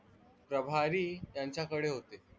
प्रभारी यांच्याकडे होते.